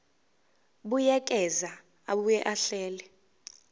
buyekeza abuye ahlele